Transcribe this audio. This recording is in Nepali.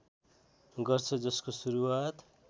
गर्छ जसको सुरुवात